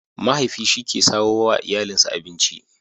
Mahaifi shi ke samo wa iyalinsa abinci.